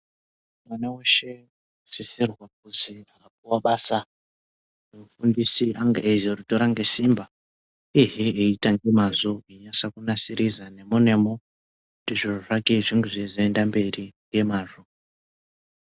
Mwana weshe unosise kuti akapuwa basa ngemufundisi ange achizoritora ngesimba ehe eiita ngemwazvo einase kunasirisa nemo nemo kuti zviro zvake zvinge zveizoenda mberi ngemwazvo.